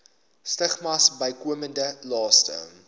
stigmas bykomende laste